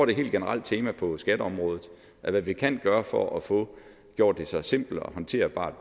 et helt generelt tema på skatteområdet at hvad vi kan gøre for at få gjort det så simpelt og håndterbart